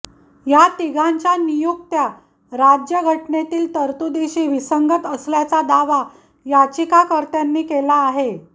या तिघांच्या नियुक्त्या राज्य घटनेतील तरतुदीशी विसंगत असल्याचा दावा याचिकाकर्त्यांनी केला आहे